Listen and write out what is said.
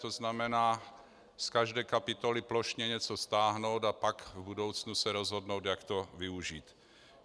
To znamená z každé kapitoly plošně něco stáhnout, a pak v budoucnu se rozhodnout, jak to využít.